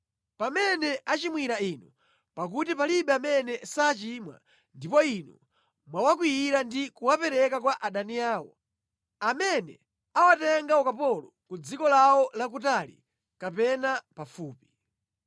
“Pamene achimwira inu, pakuti palibe amene sachimwa, ndipo inu mwawakwiyira ndi kuwapereka kwa adani awo, amene awatenga ukapolo ku dziko lawo lakutali kapena pafupi.